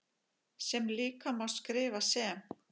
sem líka má skrifa sem